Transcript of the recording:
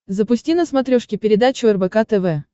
запусти на смотрешке передачу рбк тв